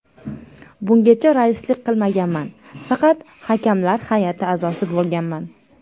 Bungacha raislik qilmaganman, faqat hakamlar hay’ati a’zosi bo‘lganman.